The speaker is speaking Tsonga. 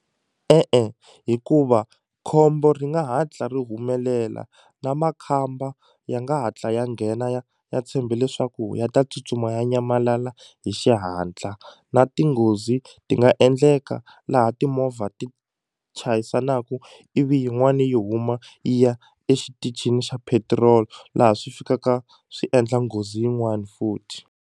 E-e hikuva khombo ri nga hatla ri humelela na makhamba ya nga hatla ya nghena ya tshembe leswaku ya ta tsutsuma ya nyamalala hi xihatla na ti nghozi ti nga endleka laha timovha ti chayisanaku ivi yin'wani yi huma yi ya exitichini xa petiroli laha swi fikaka swi endla nghozi yin'wani futhi.